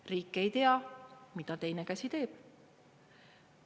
Riik ei tea, mida teine käsi teeb.